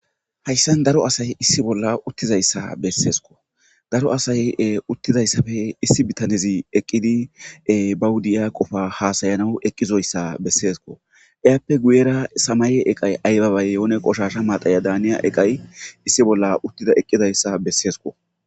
Hayssan daro asay issi bolla uttizayssa besessikko. Daro asay uttidayssappe issi bitanezi eqqidi ba diya qofa hasayanaw eqqizayssa besessikko. Etappekka guyerra samaye eqqay ayba bay yehonne qoshshasha madhaya daniya eqqay issi bolla uttidi eqqidayssa besessikko.